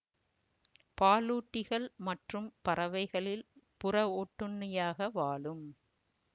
பாலூட்டிகள் மற்றும் பறவைகளில் புற ஒட்டுண்ணியாக வாழும்